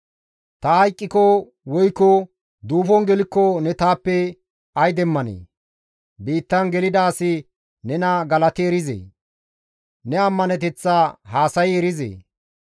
«Ta hayqqiko woykko duufon gelikko ne taappe ay demmanee? Biittan gelida asi nena galati erizee? Ne ammaneteththa haasayi erizee?